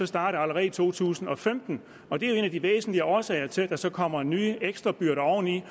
starte allerede i to tusind og femten og det er jo en af de væsentlige årsager til at der så kommer nye ekstrabyrder oveni